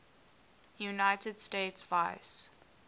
united states vice